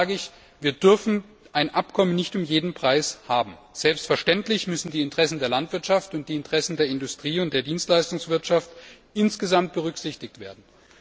Dennoch sage ich, dass wir ein Abkommen nicht um jeden Preis haben dürfen. Selbstverständlich müssen die Interessen der Landwirtschaft, der Industrie und der Dienstleistungswirtschaft insgesamt berücksichtigt werden.